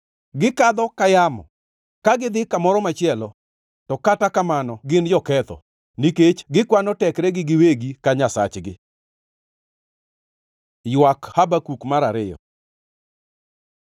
Gikadho ka yamo, ka gidhi kamoro machielo. To kata kamano gin joketho, nikech gikwano tekregi giwegi ka nyasachgi.” Ywak Habakuk mar ariyo